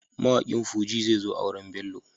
Mawaƙin Fuji zezo auren Bello.